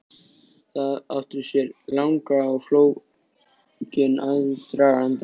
Það átti sér langan og flókinn aðdraganda.